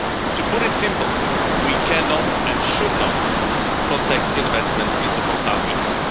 To put it simple, we cannot and should not protect investments into fossil fuels.